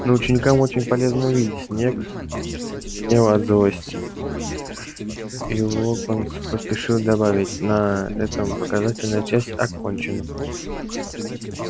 но ученикам очень полезно увидеть снегг позеленел от злости и локонс поспешил добавить на этом показательная часть окончена